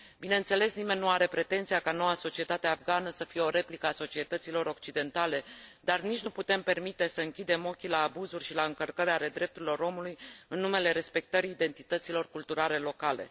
Bineînțeles, nimeni nu are pretenția ca noua societate afgană să fie o replică a societăților occidentale, dar nici nu putem permite să închidem ochii la abuzuri și la încălcări ale drepturilor omului în numele respectării identităților culturale locale.